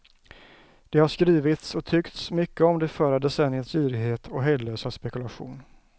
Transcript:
Det har skrivits och tyckts mycket om det förra decenniets girighet och hejdlösa spekulation.